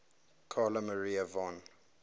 carl maria von